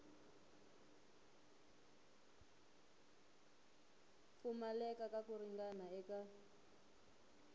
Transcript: pfumaleka ka ku ringana eka